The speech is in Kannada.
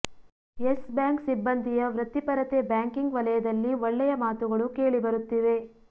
ಯೆಸ್ ಬ್ಯಾಂಕ್ ಸಿಬ್ಬಂದಿಯ ವೃತ್ತಿಪರತೆ ಬ್ಯಾಂಕಿಂಗ್ ವಲಯದಲ್ಲಿ ಒಳ್ಳೆಯ ಮಾತುಗಳು ಕೇಳಿ ಬರುತ್ತಿವೆ